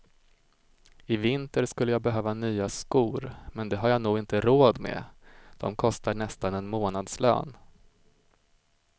I vinter skulle jag behöva nya skor men det har jag nog inte råd med, de kostar nästan en månadslön.